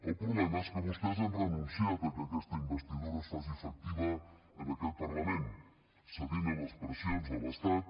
el problema és que vostès han renunciat a que aquesta investidura es faci efectiva en aquest parlament cedint a les pressions de l’estat